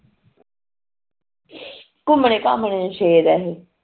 ਘੁਮਣੇ ਘਮਣ ਨੂੰ ਸ਼ੇਰ ਏ ਇਹ